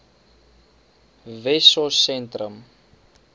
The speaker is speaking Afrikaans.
wessosentrum